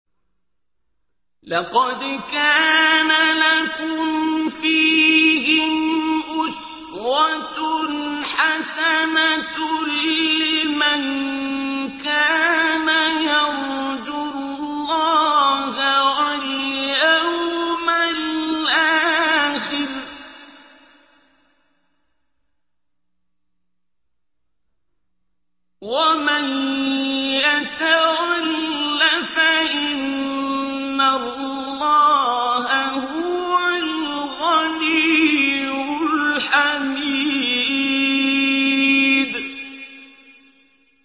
لَقَدْ كَانَ لَكُمْ فِيهِمْ أُسْوَةٌ حَسَنَةٌ لِّمَن كَانَ يَرْجُو اللَّهَ وَالْيَوْمَ الْآخِرَ ۚ وَمَن يَتَوَلَّ فَإِنَّ اللَّهَ هُوَ الْغَنِيُّ الْحَمِيدُ